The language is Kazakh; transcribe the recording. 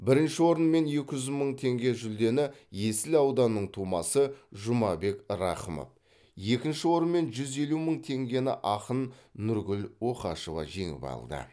бірінші орын мен екі жүз мың теңге жүлдені есіл ауданының тумасы жұмабек рақымов екінші орын мен жүз елу мың теңгені ақын нұргүл оқашева жеңіп алды